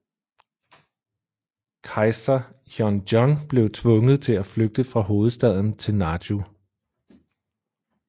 Kejser Hyeonjong blev tvunget til at flygte fra hovedstaden til Naju